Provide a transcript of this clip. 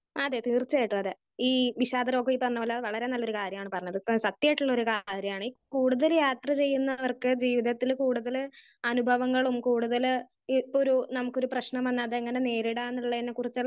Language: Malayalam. സ്പീക്കർ 1 അതെ തീർച്ചയായിട്ടും അതെ ഈ വിഷാദരോഗം തന്ന പോലെ വളരെ നല്ലൊരു കാര്യമാണ് പറഞ്ഞത്. ഇപ്പൊ സത്യായിട്ടുള്ള ഒരു കാര്യാണ് ഈ കൂടുതൽ യാത്ര ചെയ്യുന്നവർക്ക് ജീവിതത്തിൽ കൂടുതൽ അനുഭവങ്ങളും കൂടുതൽ ഇപ്പൊ ഒരു നമുക്ക് ഒരു പ്രശ്നം വന്നാൽ അതെങ്ങനെ നേരിടാൻ എന്നുള്ളതിനെ കുറിച്ചുള്ള